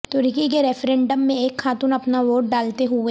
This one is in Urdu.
ترکی کے ریفرینڈم میں ایک خاتون اپنا ووٹ ڈالتے ہوئے